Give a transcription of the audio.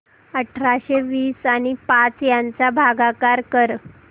अठराशे वीस आणि पाच यांचा भागाकार कर